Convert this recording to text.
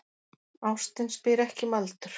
Ástin spyr ekki um aldur